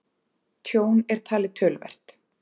Tjón er talið töluvert